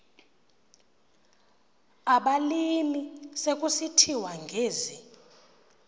abalimi sekusithiwa ngezi